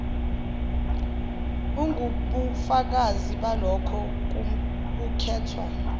ingubufakazi balokho kukhethwa